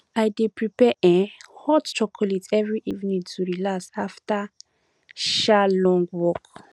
i dey prepare um hot chocolate every evening to relax after um long work